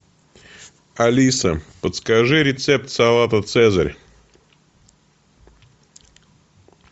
алиса подскажи рецепт салата цезарь